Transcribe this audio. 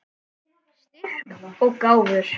Styrk og gáfur.